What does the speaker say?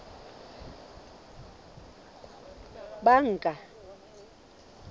banka